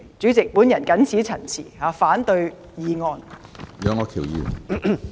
主席，我謹此陳辭，反對議案。